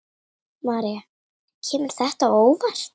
María: Kemur þetta á óvart?